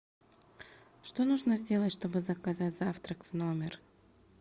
что нужно сделать чтобы заказать завтрак в номер